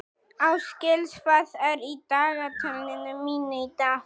Ásgils, hvað er í dagatalinu mínu í dag?